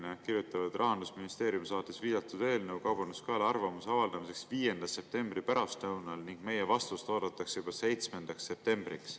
Nad kirjutavad: "Rahandusministeerium saatis viidatud eelnõu Kaubanduskojale arvamuse avaldamiseks 5. septembri pärastlõunal ning meie vastust oodatakse juba 7. septembriks.